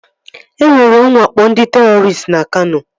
E nwere nwakpo ndị terọristị na Kano